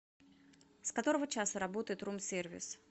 с которого часа работает рум сервис